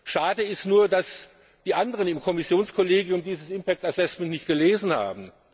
Schade ist nur, dass die anderen im Kommissionskollegium dieses impact assessment nicht gelesen haben.